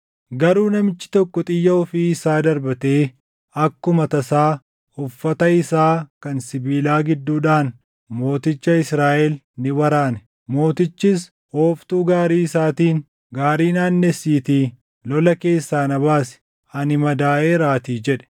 Garuu namichi tokko xiyya ofii isaa darbatee akkuma tasaa uffata isaa kan sibiilaa gidduudhaan mooticha Israaʼel ni waraane. Mootichis ooftuu gaarii isaatiin, “Gaarii naannessiitii lola keessaa na baasi; ani madaaʼeeraatii” jedhe.